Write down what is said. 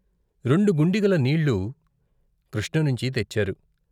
రెండు గుండిగల నీళ్ళు కృష్ణ నించి తెచ్చారు.